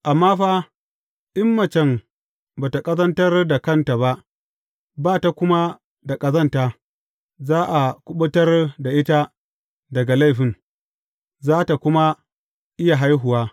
Amma fa, in macen ba tă ƙazantar da kanta ba, ba tă kuma da ƙazanta, za a kuɓutar da ita daga laifin, za tă kuma iya haihuwa.